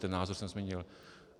Ten názor jsem nezměnil.